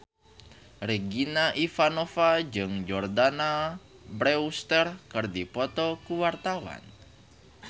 Regina Ivanova jeung Jordana Brewster keur dipoto ku wartawan